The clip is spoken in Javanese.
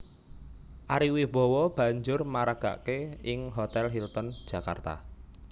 Ari Wibowo banjur maragaké ing Hotèl Hilton Jakarta